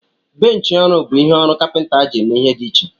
Benchi ọrụ bụ ihe ọrụ ndị kapinta ji eme ihe dị iche.